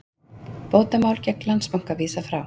Bótamáli gegn Landsbanka vísað frá